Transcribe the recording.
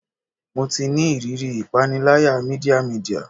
Mo ti ni iriri ipanilaya media media